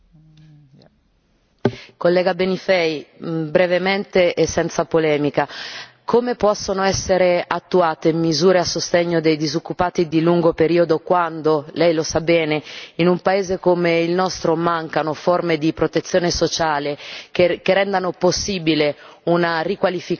Collega Benifei, brevemente e senza polemica come possono essere attuate misure a sostegno dei disoccupati di lungo periodo quando lei lo sa bene in un paese come il nostro mancano forme di protezione sociale che rendano possibile una riqualificazione e una ricollocazione